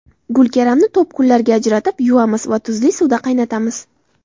Gulkaramni to‘pgullarga ajratib, yuvamiz va tuzli suvda qaynatamiz.